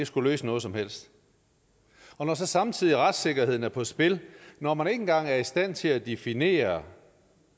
skulle løse noget som helst og når så samtidig retssikkerheden er på spil når man ikke engang er i stand til at definere